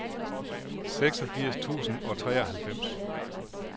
seksogfirs tusind og treoghalvfems